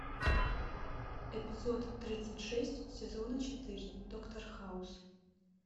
эпизод тридцать шесть сезона четыре доктор хаус